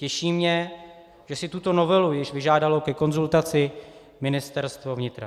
Těší mě, že si tuto novelu již vyžádalo ke konzultaci Ministerstvo vnitra.